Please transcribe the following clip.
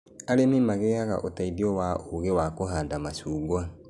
Arĩmi magĩaga ũteithio wa uugĩ wa kũhanda macungwa